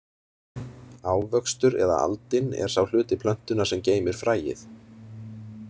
Ávöxtur eða aldin er sá hluti plöntunnar sem geymir fræið.